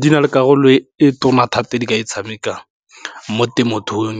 Di na le karolo e tona thata di ka e tshamekang mo temothuong